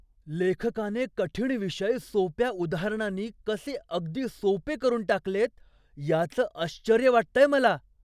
लेखकाने कठीण विषय सोप्या उदाहरणांनी कसे अगदी सोपे करून टाकलेत याचं आश्चर्य वाटतंय मला.